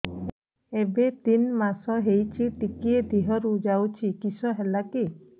ଏବେ ତିନ୍ ମାସ ହେଇଛି ଟିକିଏ ଦିହରୁ ଯାଉଛି କିଶ ହେଲାକି